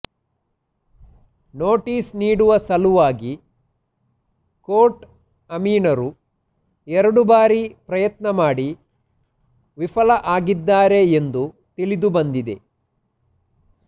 notice ನೀಡುವ ಸಲುವಾಗಿ court ಅಮೀನರು ಎರಡು ಬಾರಿ ಪ್ರಯತ್ನ ಮಾಡಿ ವಿಫಲ ಆಗಿದ್ದಾರೆ ಎಂದು ತಿಳಿದು ಬಂದಿದೆ